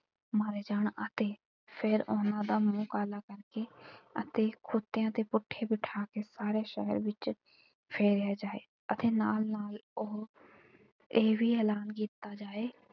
ਮਾਰੇ ਜਾਣ ਅਤੇ ਫਿਰ ਉਨ੍ਹਾਂ ਦਾ ਮੂੰਹ ਕਾਲਾ ਕਰਕੇ ਅਤੇ ਖੋਤਿਆਂ ਤੇ ਪੁੱਠੇ ਬਿਠਾ ਕੇ ਸਾਰੇ ਸ਼ਹਿਰ ਵਿੱਚ ਫੇਰਿਆ ਜਾਏ ਅਤੇ ਨਾਲ ਨਾਲ ਉਹ ਇਹ ਵੀ ਐਲਾਨ ਕੀਤਾ ਜਾਏ।